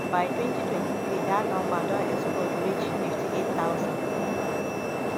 by 2023 dat number don explode reach 58000.